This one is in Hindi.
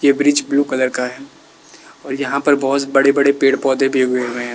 ये ब्रिज ब्लू कलर का है और यहां पर बहोत बड़े बड़े पेड़ पौधे भी उगे हुए हैं।